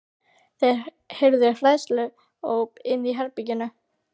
Þeir heyrðu hræðsluóp inni í herberginu.